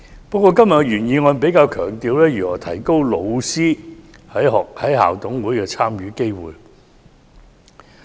不過，原議案比較強調如何提高老師在校董會的參與機會。